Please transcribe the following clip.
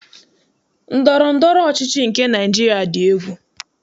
Ndọrọndọrọ ọchịchị nke Naịjiria dị egwu.